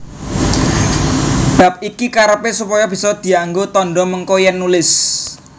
Bab iki karepé supaya bisa dianggo tandha mengko yèn nulis